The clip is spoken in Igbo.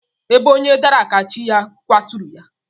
Ebe onye dara ka chi ya kwaturu ya.